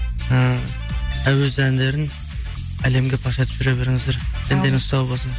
ііі әуез әндерін әлемге паш етіп жүре беріңіздер дендеріңіз сау болсын